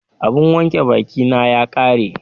Abun wanke bakin na ya ƙare